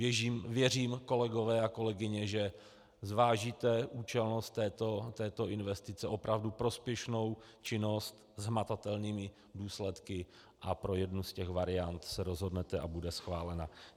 Věřím, kolegové a kolegyně, že zvážíte účelnost této investice, opravdu prospěšnou činnost s hmatatelnými důsledky, a pro jednu z těch variant se rozhodnete a bude schválena.